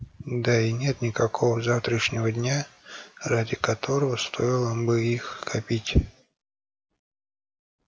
да и нет никакого завтрашнего дня ради которого стоило бы их копить